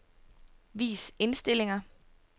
Vis indstillinger.